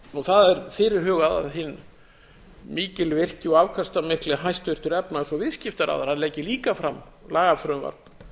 vegar það er fyrirhugað að hinn mikilvirki og afkastamikli hæstvirtur efnahags og viðskiptaráðherra leggi líka fram lagafrumvarp